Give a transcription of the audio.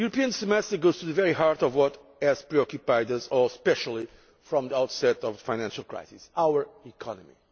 The European Semester goes to the very heart of what has preoccupied us all especially from the outset of the financial crisis our economy.